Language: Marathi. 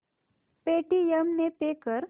पेटीएम ने पे कर